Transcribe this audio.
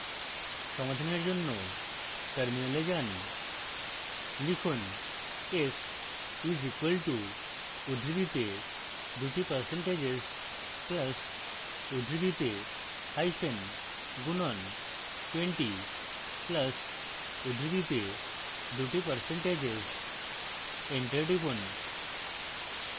সমাধানের জন্য terminal যান লিখুন s is equal to উদ্ধৃতিতে দুটি percentages plus উদ্ধৃতিতে hyphen গুণন twenty plus উদ্ধৃতিতে দুটি percentages এন্টার টিপুন